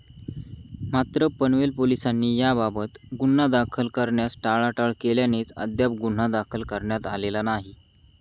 मात्र, पनवेल पोलिसांनी याबाबत गुन्हा दाखल करण्यास टाळाटाळ केल्यानेच अद्याप गुन्हा दाखल करण्यात आलेला नाही.